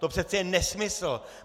To přece je nesmysl!